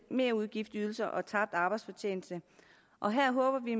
merudgiftsydelser og tabt arbejdsfortjeneste og her håber vi